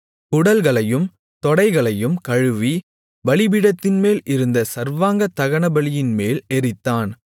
குடல்களையும் தொடைகளையும் கழுவி பலிபீடத்தின்மேல் இருந்த சர்வாங்க தகனபலியின்மேல் எரித்தான்